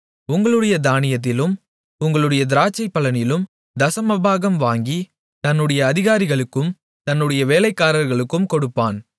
உங்களுடைய தானியத்திலும் உங்களுடைய திராட்சை பலனிலும் தசமபாகம் வாங்கி தன்னுடைய அதிகாரிகளுக்கும் தன்னுடைய வேலைக்காரர்களுக்கும் கொடுப்பான்